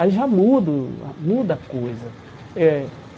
Aí já muda o ah muda a coisa eh.